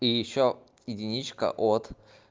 и ещё единичка от